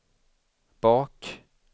bak